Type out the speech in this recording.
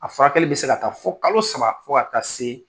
A furakɛli be se ka taa fɔ kalo saba fo ka taa see